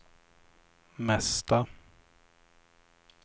mesta